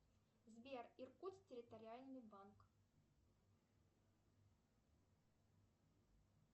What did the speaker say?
сбер иркутск территориальный банк